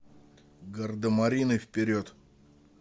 гардемарины вперед